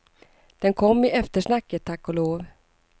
Den kom i eftersnacket, tack och lov.